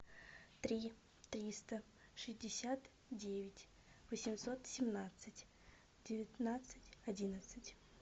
три триста шестьдесят девять восемьсот семнадцать девятнадцать одиннадцать